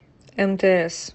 мтс